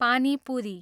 पानी पुरी